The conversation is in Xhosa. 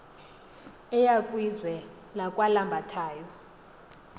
eya kwizwe lakwalambathayo